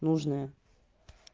нужная